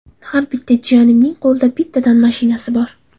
Har bitta jiyanimning qo‘lida bittadan mashinasi bor.